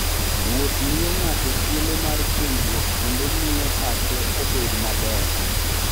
Wuoth miyo ng'ato thuolo mar puonjruok kendo miyo pache obed maber.